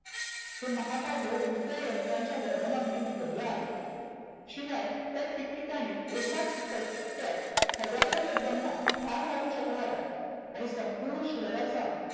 हे महाकाव्य उडत्या यंत्रनांनी वर्णनांनी भरलं आहे. शिवाय ते ठिक ठिकानी एकाच फटक्यात हजारो लोकांना ठार मारु शकणाऱ्या आणि संपुर्ण शहराचा